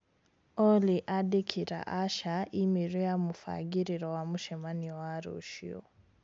Olly andĩkĩra Asha i-mīrū ya mũbangĩriro wa mũcemanio wa rũciũ